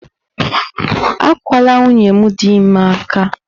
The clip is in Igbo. Akwala nwunye m dị ime aka!